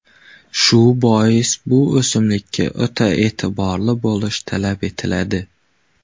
Shu bois bu o‘simlikka o‘ta e’tiborli bo‘lish talab etiladi.